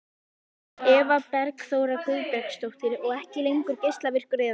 Eva Bergþóra Guðbergsdóttir: Og ekki lengur geislavirkur eða?